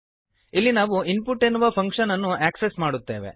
ಇಲ್ಲಿ ನಾವು ಇನ್ಪುಟ್ ಎನ್ನುವ ಫಂಕ್ಶನ್ ಅನ್ನು ಆಕ್ಸೆಸ್ ಮಾಡುತ್ತೇವೆ